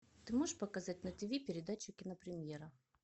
ты можешь показать на ти ви передачу кинопремьера